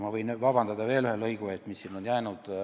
Ma võin vabandust paluda veel ühe lõigu eest, mis on siia sisse jäänud.